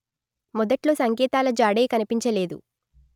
మొదట్లో సంకేతాల జాడే కనిపించలేదు